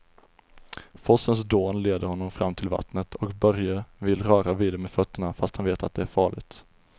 Forsens dån leder honom fram till vattnet och Börje vill röra vid det med fötterna, fast han vet att det är farligt.